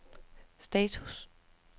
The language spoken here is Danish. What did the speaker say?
status